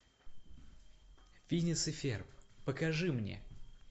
финес и ферб покажи мне